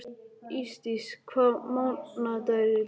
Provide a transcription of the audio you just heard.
Ísdís, hvaða mánaðardagur er í dag?